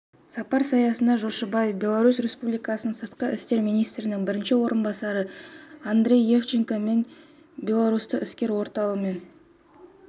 сапар аясында жошыбаев беларусь республикасының сыртқы істер министрінің бірінші орынбасары андрей евдоченко мен белорусстық іскер ортамен